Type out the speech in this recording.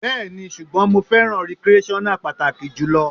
Bẹ́ẹ̀ni, ṣùgbọ́n mo fẹ́ràn recreational páàkì jù lọ.